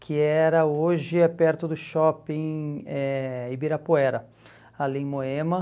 que era hoje é perto do shopping eh Ibirapuera, ali em Moema.